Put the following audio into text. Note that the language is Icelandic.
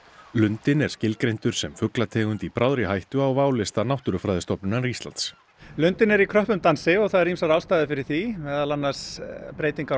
lundinn er skilgreindur sem fuglategund í bráðri hættu á válista Náttúrufræðistofnunar Íslands lundinn er í kröppum dansi og það eru ýmsar ástæður fyrir því meðal annars breytingar á